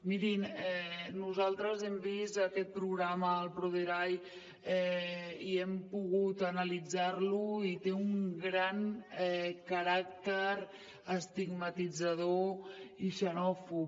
mirin nosaltres hem vist aquest programa el proderai i hem pogut analitzar lo i té un gran caràcter estigmatitzador i xenòfob